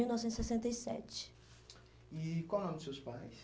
mil novecentos e sessenta e sete. E qual o nome dos seus pais?